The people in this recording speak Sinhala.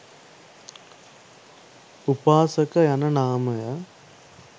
උපාසක යන නාමය